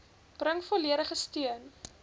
bring volledige steun